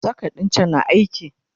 socket ɗin can na aiki?